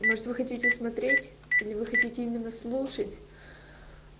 может вы хотите смотреть или вы хотите именно слушать